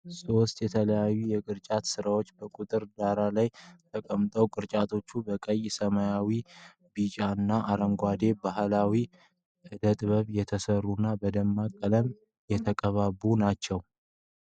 ሶስት የተለያዩ የቅርጫት ሥራዎች በጥቁር ዳራ ላይ ተቀምጠዋል። ቅርጫቶቹ በቀይ፣ ሰማያዊ፣ ቢጫና አረንጓዴ የባሕላዊ ዕደ-ጥበብ የተሠሩና በደማቅ ቀለም የተቀነባበሩ ናቸው።